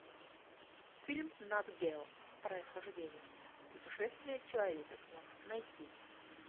фильм нат гео происхождение путешествие человечества найти